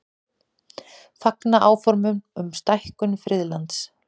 Fagna áformum um stækkun friðlands